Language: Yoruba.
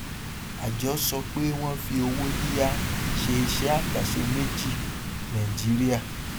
àjọ sọ pé wọn fi owó yíyá ṣe iṣẹ àkànṣe méjì nàìjíríà